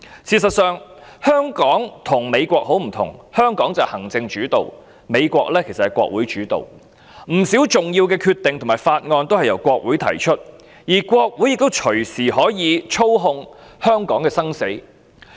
事實上，香港與美國很不同，香港是行政主導，美國是國會主導，不少重要的決定和法案均由國會提出，而國會也隨時可以操控香港的生死。